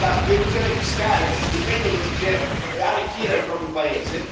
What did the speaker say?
dell'elusione fiscale un metodo per arricchire il proprio paese.